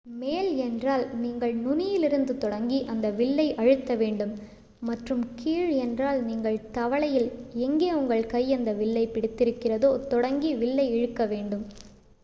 மேல் என்றால் நீங்கள் நுனியிலிருந்து தொடங்கி அந்த வில்லை அழுத்த வேண்டும் மற்றும் கீழ் என்றால் நீங்கள் தவளையில் எங்கே உங்கள் கை அந்த வில்லைப் பிடித்திருக்கிறதோ தொடங்கி வில்லை இழுக்க வேண்டும்